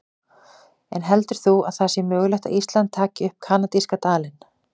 En heldur þú að það sé mögulegt að Ísland taki upp kanadíska dalinn?